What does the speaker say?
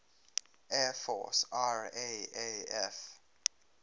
air force raaf